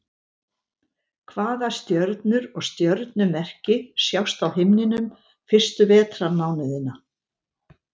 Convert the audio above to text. Hvaða stjörnur og stjörnumerki sjást á himninum fyrstu vetrarmánuðina?